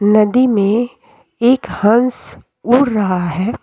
नदी में एक हंस उड़ रहा है।